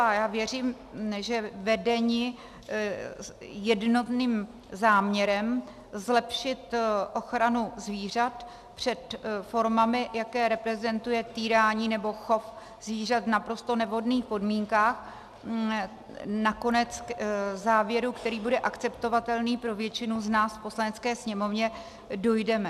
A já věřím, že vedeni jednotným záměrem zlepšit ochranu zvířat před formami, jaké reprezentuje týrání nebo chov zvířat v naprosto nevhodných podmínkách, nakonec k závěru, který bude akceptovatelný pro většinu z nás v Poslanecké sněmovně, dojdeme.